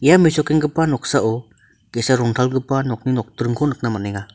ia mesokenggipa noksao ge·sa rongtalgipa nokni nokdringko nikna man·enga.